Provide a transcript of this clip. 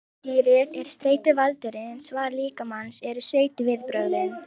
Villidýrið er streituvaldurinn, svar líkamans eru streituviðbrögðin.